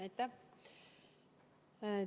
Aitäh!